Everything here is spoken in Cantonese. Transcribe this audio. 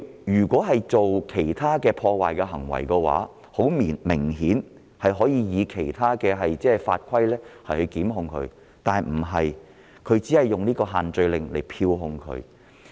如果他曾幹出其他破壞行為，顯然可以其他法規作出檢控，但警方卻只引用限聚令作出票控。